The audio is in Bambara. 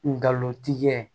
Ngalontigikɛ